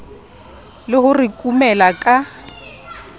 le ho re kumela ka